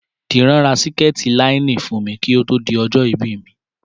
Dìran ra síkètì láínìnì fún mi kí ó tó di ọjọ́ ìbí mi